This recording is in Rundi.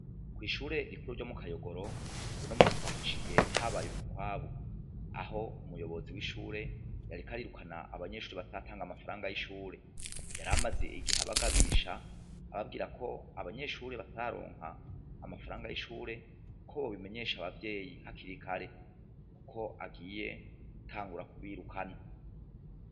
Ko'ishure rikuru ryo mu kayogoro buno musi twahaciye habaye umukwabu aho umuyobozi w'ishure yarikarirukana abanyeshuri batatanga amafaranga y'ishure yaramaze igiha bagabisha ababwira ko abanyeshuri bataronka amafaranga y'ishure ko bo bimenyesha abavyeyi nkakirikare, kuko agi iye tangura kubirukana.